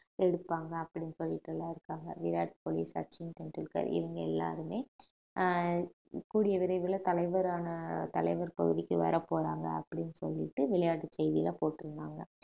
எடுப்பாங்க அப்படின்னு சொல்லிட்டு எல்லாம் இருக்காங்க விராட் கோலி சச்சின் டெண்டுல்கர் இவங்க எல்லாருமே அஹ் கூடிய விரைவில தலைவரான தலைவர் பகுதிக்கு வரப்போறாங்க அப்படின்னு சொல்லிட்டு விளையாட்டு செய்தில்லா போட்டிருந்தாங்க